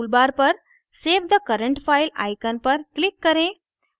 toolbar पर save the current file icon पर click करें